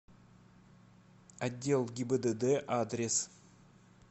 отдел гибдд адрес